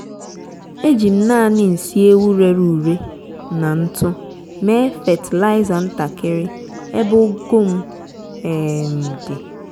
ejim nani nsị ewu rere ure na ntụ mee fatịlaịza ntakiri ebe ugu m um di